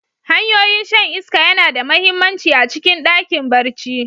Hanyoyin shan iska yana da mahimmanci a cikin ɗakin barci.